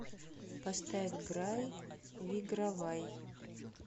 поставь грай вигравай